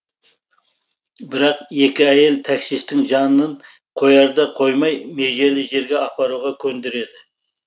бірақ екі әйел таксисттің жанын қояр да қоймай межелі жерге апаруға көндіреді